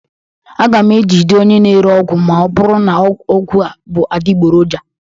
Aga m ejide onye na-ere ọgwụ ma ọ bụrụ na ọgwụ a bụ adịgboroja